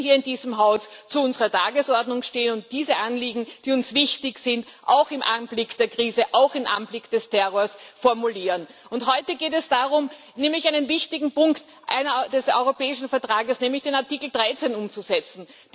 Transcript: Wir müssen hier in diesem Haus zu unserer Tagesordnung stehen und diese Anliegen, die uns wichtig sind, auch im Anblick der Krise, auch im Anblick des Terrors formulieren. Heute geht es darum, einen wichtigen Punkt des Europäischen Vertrags, nämlich den Artikel 13, umzusetzen.